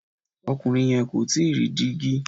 Ọkùnrin yẹn kò tíì ra dígi.